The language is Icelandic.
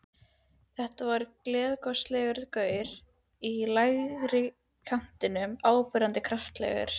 Þetta var gleiðgosalegur gaur í lægri kantinum, áberandi kraftalegur.